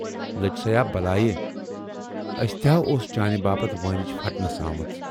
"لٔج سیا بلایہ، اَسہِ تہِ ہا اوس چانہِ باپتھ وٲنِج پھٹنَس آمٕژ